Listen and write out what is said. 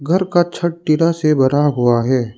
घर का छत टीना से बना हुआ है।